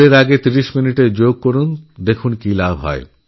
স্কুলেরআগে তিরিশ মিনিটের যোগাভ্যাসে দেখুন কত উপকার হতে পারে